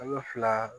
Kalo fila